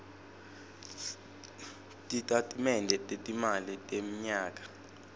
titatimende tetimali temnyaka